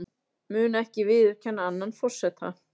Mun ekki viðurkenna annan forseta